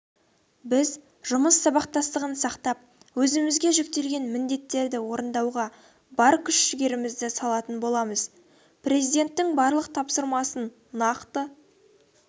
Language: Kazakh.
біз жұмыс сабақтастығын сақтап өзімізге жүктелген міндеттерді орындауға бар күш-жігерімізді салатын боламыз президенттің барлық тапсырмаіын нақты